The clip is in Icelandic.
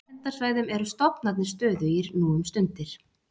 Á verndarsvæðum eru stofnarnir stöðugir nú um stundir.